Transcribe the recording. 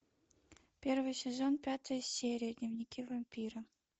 первый сезон пятая серия дневники вампира